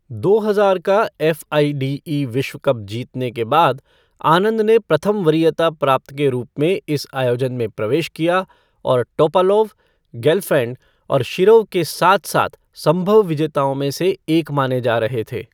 दो हजार का एफ़आइडीई विश्व कप जीतने के बाद, आनंद ने प्रथम वरीयता प्राप्त के रूप में इस आयोजन में प्रवेश किया और टोपालोव, गेलफ़ैंड और शिरोव के साथ साथ संभव विजेताओं में से एक माने जा रहे थे।